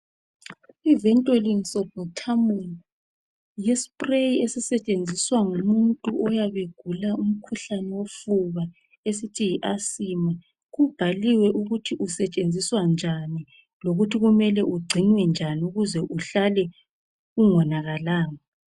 Iventolin sulbutamol yispray ezisetshenziswa ngumuntu oyabe egula umkhuhlane wofuba esithi yiasima kubhaliwe ukuthi usetshenziswa njani lokuthi kumele ugcinwe njani ukuce uhlale ungonakalanga.